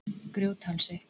Grjóthálsi